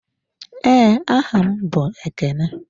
Ee, aha m bụ Ekene.